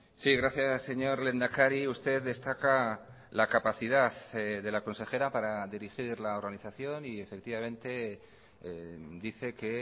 sí gracias señor lehendakari usted destaca la capacidad de la consejera para dirigir la organización y efectivamente dice que